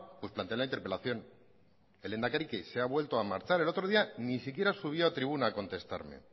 pues planteé la interpelación el lehendakari qué se ha vuelto a marchar el otro día ni siquiera subió a tribuna a contestarme